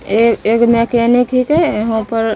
एय एक मकैनिक हीके यहाँ पर --